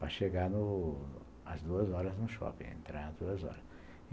Para no chegar às duas horas no shopping, entrar às duas horas.